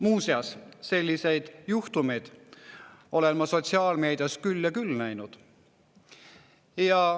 Muuseas, selliseid juhtumeid olen ma sotsiaalmeedias küll ja küll näinud.